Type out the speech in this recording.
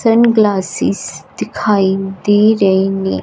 Sun glasses दिखाइ दे रही है।